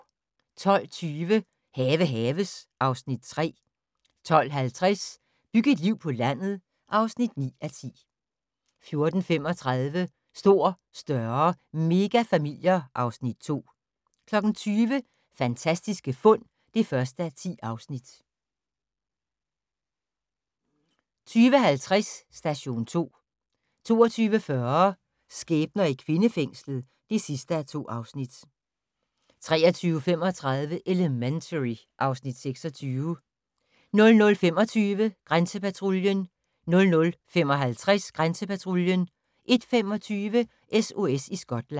12:20: Have haves (Afs. 3) 12:50: Byg et liv på landet (9:10) 14:35: Stor, større - megafamilier (Afs. 2) 20:00: Fantastiske fund (1:10) 20:50: Station 2 22:40: Skæbner i kvindefængslet (2:2) 23:35: Elementary (Afs. 26) 00:25: Grænsepatruljen 00:55: Grænsepatruljen 01:25: SOS i Skotland